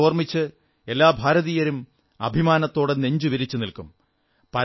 അദ്ദേഹത്തെ ഓർമ്മിച്ച് എല്ലാ ഭാരതീയരും അഭിമാനത്തോടെ നെഞ്ചുവിരിച്ചു നിൽക്കും